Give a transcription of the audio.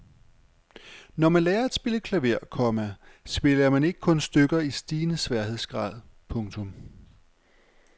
Når man lærer at spille klaver, komma spiller man ikke kun stykker i stigende sværhedsgrad. punktum